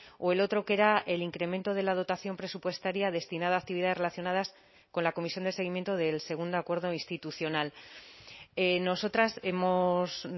o el otro que era el incremento de la dotación presupuestaria destinada a actividades relacionadas con la comisión de seguimiento del segundo acuerdo institucional nosotras hemos